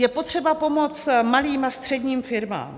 Je potřeba pomoct malým a středním firmám.